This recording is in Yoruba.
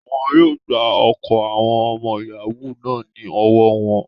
Wọ́n yóò gba ọkọ̀ àwọn ọmọ yàáwù náà ní ọwọ́ wọn